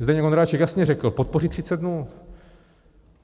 Zdeněk Ondráček jasně řekl, podpořit 30 dnů.